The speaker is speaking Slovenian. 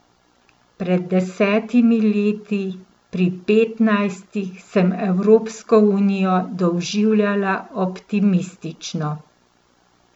Pred desetimi leti, pri petnajstih, sem Evropsko unijo doživljala optimistično.